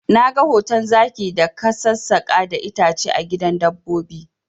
Na ga hoton zaki da ka sassaka da itace a gidan dabbobi